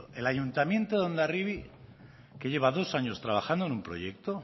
el ayuntamiento de hondarribi que lleva dos años trabajando en un proyecto